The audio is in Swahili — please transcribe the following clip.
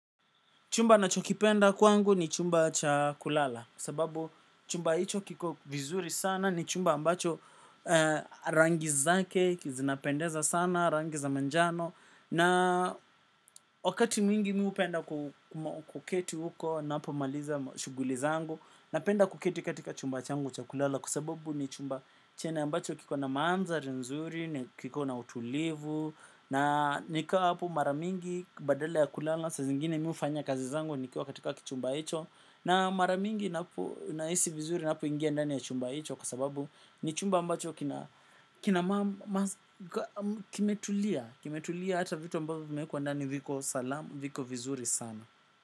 Chumba nachokipenda kwangu ni chumba cha kulala kwa sababu chumba hicho kiko vizuri sana ni chumba ambacho rangi zake zinapendeza sana rangi za majano. Na wakati mingi mimi hupenda kuketi huko ninapo maliza shughuli zangu. Na penda kuketi katika chumba changu cha kulala kwa sababu ni chumba chenye ambacho kiko na maanthari nzuri, na kiko na utulivu. Na nikikaa hapo mara mingi badala ya kulala saa zingine mimi hufanya kazi zangu nikiwa katika kichumba hicho na mara mingi inapo nahisi vizuri inapo ingia ndani ya chumba hicho kwa sababu ni chumba ambacho kimetulia kimetulia hata vitu ambavyo vimewekwa ndani viko salama viko vizuri sana.